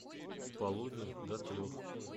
с полудня до трех